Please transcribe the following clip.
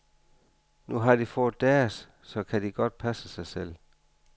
Nu har de fået deres, så kan de godt passe sig selv.